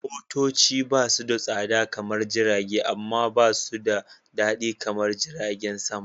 Motoci basu da tsada kaman Jirage, amma ba su da daɗi kamar jiragen sama.